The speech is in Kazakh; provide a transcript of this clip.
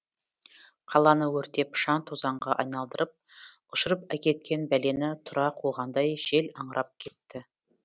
қаланы өртеп шаң тозаңға айналдырып ұшырып әкеткен бәлені тұра қуғандай жел аңырап кетті